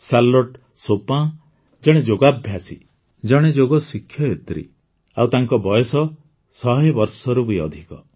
Charlotte Chopin ଜଣେ ଯୋଗାଭ୍ୟାସୀ ଜଣେ ଯୋଗ ଶିକ୍ଷୟିତ୍ରୀ ଆଉ ତାଙ୍କ ବୟସ ୧୦୦ ବର୍ଷରୁ ବି ଅଧିକ